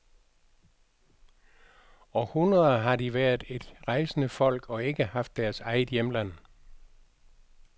I århundreder har de været et rejsende folk og ikke haft deres eget hjemland.